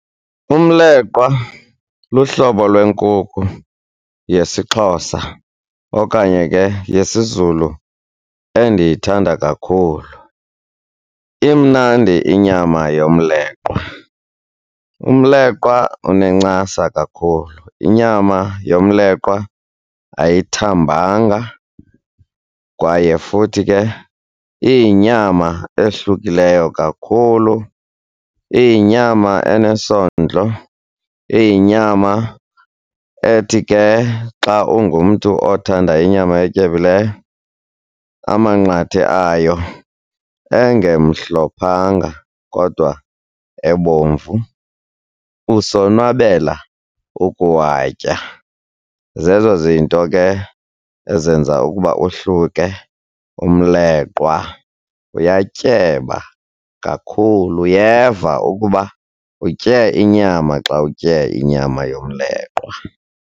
Umleqwa luhlobo lwenkukhu yesiXhosa okanye ke yesiZulu endiyithanda kakhulu. Imnandi inyama yomleqwa, umleqwa unencasa kakhulu. Inyama yomleqwa ayithambanga kwaye futhi ke iyinyama ehlukileyo kakhulu. Iyinyama enesondlo, iyinyama ethi ke xa ungumntu othanda inyama etyebileyo amanqathe ayo engemhlophanga kodwa ebomvu, usonwabela ukuwatya. Zezo zinto ke ezenza ukuba ohluke umleqwa. Uyatyeba kakhulu, uyeva ukuba utye inyama xa utye inyama yomleqwa.